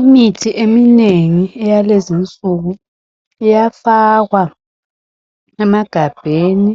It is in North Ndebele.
Imithi eminengi eyalezi insuku iyafakwa emagabheni